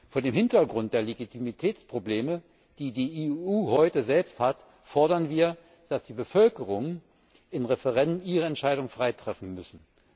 Vor dem Hintergrund der Legitimitätsprobleme, die die EU heute selbst hat, fordern wir, dass die Bevölkerungen in Referenden ihre Entscheidung frei treffen müssen.